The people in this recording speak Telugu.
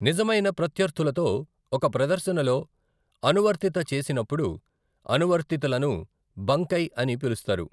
నిజమైన ప్రత్యర్థులతో ఒక ప్రదర్శనలో అనువర్తిత చేసినప్పుడు అనువర్తితలను బంకై అని పిలుస్తారు.